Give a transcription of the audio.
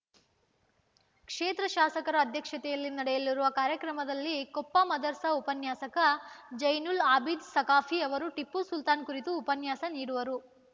ಕ್ಷೇತ್ರ ಶಾಸಕರ ಅಧ್ಯಕ್ಷತೆಯಲ್ಲಿ ನಡೆಯಲಿರುವ ಕಾರ್ಯಕ್ರಮದಲ್ಲಿ ಕೊಪ್ಪ ಮದರಸಾ ಉಪನ್ಯಾಸಕ ಝೈನುಲ್‌ ಆಭೀದ್‌ ಸಖಾಫಿ ಅವರು ಟಿಪ್ಪು ಸುಲ್ತಾನ್‌ ಕುರಿತು ಉಪನ್ಯಾಸ ನೀಡುವರು